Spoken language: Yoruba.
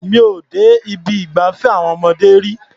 Mi ò dé ibi ìgbafẹ́ àwọn ọmọdé rí.